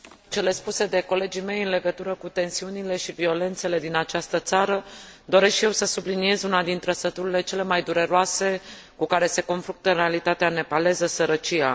Pe lângă cele spuse de colegii mei, în legătură cu tensiunile și violențele din această țară, doresc și eu să subliniez una din trăsăturile cele mai dureroase cu care se confruntă realitatea nepaleză sărăcia.